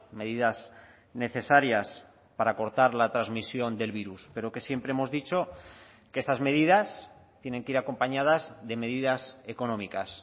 medidas necesarias para cortar la transmisión del virus pero que siempre hemos dicho que estas medidas tienen que ir acompañadas de medidas económicas